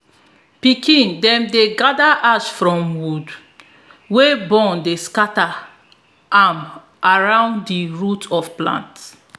pikin dem dey gather ash from wood wey burn dey scatter am around di roots of plants